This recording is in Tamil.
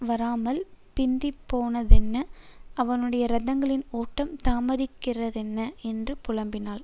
வராமல் பிந்திப்போனதென்ன அவனுடைய ரதங்களின் ஓட்டம் தாமதிக்கிறதென்ன என்று புலம்பினாள்